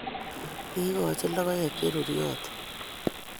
Kiikoch logoek che ruryotin